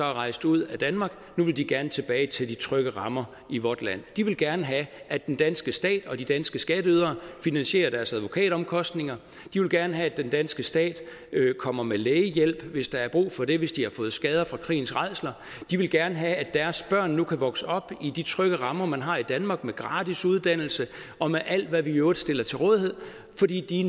var rejst ud af danmark gerne tilbage til de trygge rammer i vort land de vil gerne have at den danske stat og de danske skatteydere finansierer deres advokatomkostninger de vil gerne have at den danske stat kommer med lægehjælp hvis der er brug for det altså hvis de har fået skader fra krigens rædsler de vil gerne have at deres børn nu kan vokse op i de trygge rammer man har i danmark med gratis uddannelse og med alt hvad vi i øvrigt stiller til rådighed fordi de